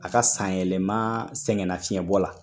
A ka sanyɛlɛma sɛgɛnna fiɲɛ bɔ la